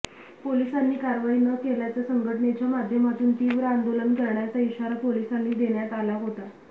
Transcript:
पोलिसांनी कारवाई न केल्यास संघटनेच्या माध्यमातून तीव्र आंदोलन करण्याचा इशारा पोलिसांना देण्यात आला होता